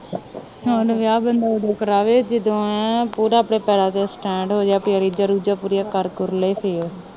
ਹੁਣ ਵਿਆਹ ਬੰਦਾ ਓਦੋ ਕਰਾਵੇ ਜਦੋਂ ਏ ਪੂਰਾ ਆਪਣੇ ਪੈਰਾਂ ਤੇ ਸਟੈਂਡ ਹੋਜੇ ਆਪਣੀਆਂ ਰੀਜ਼ਾ ਰੂਜ਼ਾ ਪੂਰੀਆਂ ਕਰ ਕੁਰ ਲੈ ਫਿਰ